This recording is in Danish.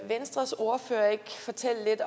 venstres ordfører ikke fortælle lidt